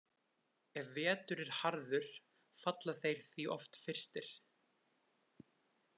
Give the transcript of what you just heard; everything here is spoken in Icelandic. Ef vetur er harður falla þeir því oft fyrstir.